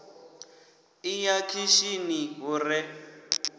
ḓi ya khishini hu re